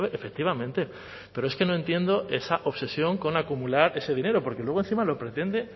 efectivamente pero es que no entiendo esa obsesión con acumular ese dinero porque luego encima lo pretende